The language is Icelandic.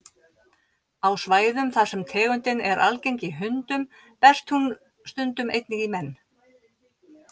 Á svæðum þar sem tegundin er algeng í hundum berst hún stundum einnig í menn.